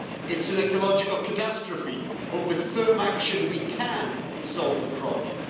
It's an ecological catastrophe, but with firm action we can solve the problem.